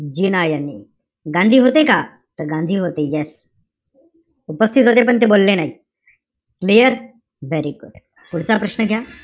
जिना यांनी. गांधी होते का? त गांधी होते, yes. उपस्थित होते पण ते बोलले नाही. clear? Very good. पुढचा प्रश्न घ्या.